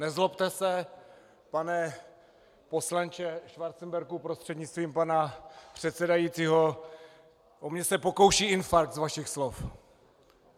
Nezlobte se, pane poslanče Schwarzenbergu prostřednictvím pana předsedajícího, o mě se pokouší infarkt z vašich slov.